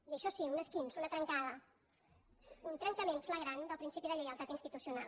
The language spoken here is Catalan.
i això sí un esquinç una trencada un trencament flagrant del principi de lleialtat institucional